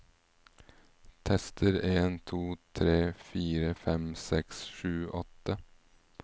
Tester en to tre fire fem seks sju åtte